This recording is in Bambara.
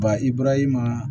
Ba i bɔra i ma